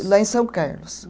Lá em São Carlos.